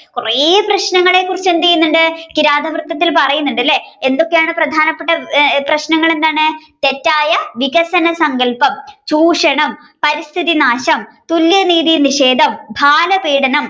കുറയെ പ്രശ്നങ്ങളെ കുറിച്ച് എന്ത് ചെയ്യുന്നുണ്ട്‌ കിരാതവൃത്തത്തിൽ പറയുന്നുണ്ട് അല്ലെ എന്തൊക്കെയാണ് പ്രധാനപ്പെട്ട പ്രശ്നങ്ങൾ എന്താണ് തെറ്റായ വികസന സങ്കല്പം, ചൂഷണം, പരിസ്ഥിതിനാശം, തുല്യനീതിൽ നിഷേധം, ബാലപീടനം,